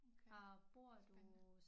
Okay spændende